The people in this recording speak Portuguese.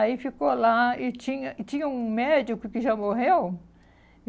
Aí ficou lá e tinha e tinha um médico que já morreu.